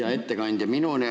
Hea ettekandja!